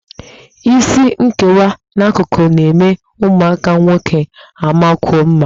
Isi nkewa n'akụkụ na-eme ụmụaka nwoke amakwuo mma